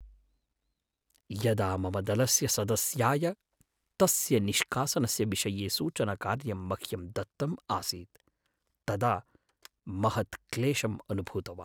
यदा मम दलस्य सदस्याय तस्य निष्कासनस्य विषये सूचनकार्यं मह्यं दत्तम् आसीत् तदा महत्क्लेशम् अनुभूतवान्।